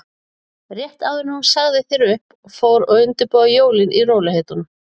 Rétt áður en hún sagði þér upp og fór að undirbúa jólin í rólegheitunum.